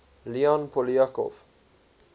leon poliakov